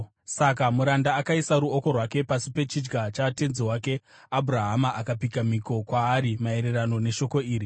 Saka muranda akaisa ruoko rwake pasi pechidya chatenzi wake Abhurahama akapika mhiko kwaari maererano neshoko iri.